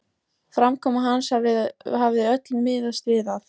Framkoma hans hafði öll miðast við að